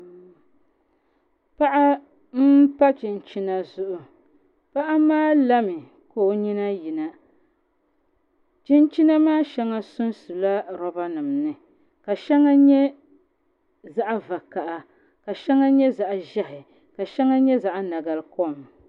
Paɣa n pa chinchina zuɣu paɣa maa lami ka o nyina yina chinchina maa shɛŋa sunsula roba nim ni ka shɛŋa nyɛ zaɣ vakaɣa ka shɛŋa nyɛ zaɣ ʒiɛhi ka shɛŋa nyɛ zaɣ nabali kom